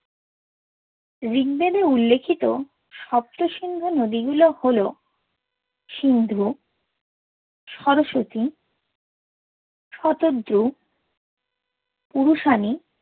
ঋগবেদে উল্লেখিত সপ্তসিন্ধু নদি গুলি হল সিন্ধু, সরস্বতী, শতদ্রু, পুরুশানি